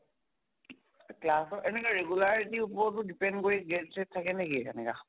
class ৰ এনেকুৱা regularity ওপৰতো depend কৰি gap চেপ থাকে নেকি এনেকা?